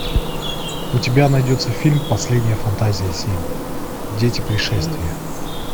у тебя найдется фильм последняя фантазия семь дети пришествия